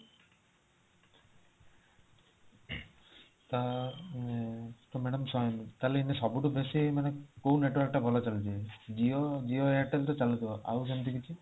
ତ madam ସବୁଠୁ ବେସି କୋଉଁ network ଟା ଭଲ ଚାଳୁଛି Jio airtel ତ ଚାଲୁଥିବା ଆଉ ସେମିତି କିଛି